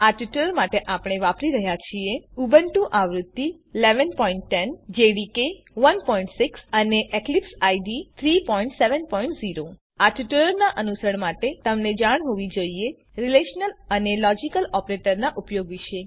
આ ટ્યુટોરીયલ માટે આપણે વાપરી રહ્યા છીએ ઉબુન્ટુ આવૃત્તિ ૧૧૧૦ જેડીકે ૧૬ અને એક્લીપ્સ આઇડીઇ ૩૭૦ આ ટ્યુટોરીયલનાં અનુસરણ માટે તમને જાણ હોવી જોઈએ રીલેશનલ અને લોજીકલ ઓપરેટરોનાં ઉપયોગ વિશે